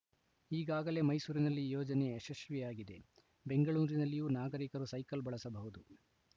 ಈಗಾಗಲೇ ಮೈಸೂರಿನಲ್ಲಿ ಯೋಜನೆ ಯಶಸ್ವಿಯಾಗಿದೆ ಬೆಂಗಳೂರಿನಲ್ಲಿಯೂ ನಾಗರಿಕರು ಸೈಕಲ್‌ ಬಳಸಬಹುದು